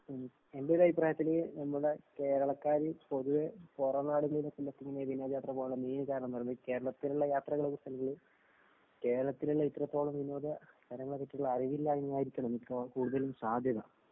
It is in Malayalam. മ്. എന്‍റെ ഒരു അഭിപ്രായത്തില്‍ നമ്മുടെ കേരള; ക്കാര് പൊതുവേ പൊറം നാടുകളിലേക്ക് മറ്റും ഇങ്ങനെ വിനോദയാത്ര പോകുന്നതിനു മെയിന്‍ കാരണം എന്ന് പറയുന്നത് കേരളത്തിലുള്ള യാത്രകളെ കുറിച്ച് അല്ലെങ്കില്‍ കേരളത്തില്‍ തന്നെ ഇത്രത്തോളം വിനോദ കാര്യങ്ങളെ പറ്റിയുള്ള അറിവില്ലായ്മ ആയിരിക്കണം മിക്കവാറും കൂടുതലും സാധ്യത.